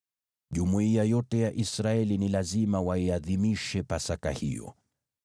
Jumuiya yote ya Israeli ni lazima waiadhimishe Pasaka hiyo.